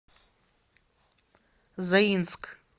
заинск